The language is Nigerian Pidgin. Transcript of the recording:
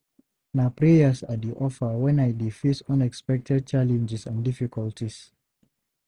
Na prayers I dey offer when I dey face unexpected challenges and difficulties.